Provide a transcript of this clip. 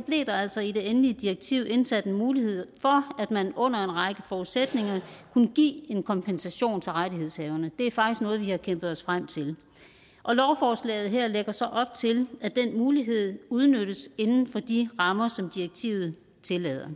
blev der altså i det endelige direktiv indsat en mulighed for at man under en række forudsætninger kunne give en kompensation til rettighedshaverne det er faktisk noget vi har kæmpet os frem til lovforslaget her lægger så op til at den mulighed udnyttes inden for de rammer som direktivet tillader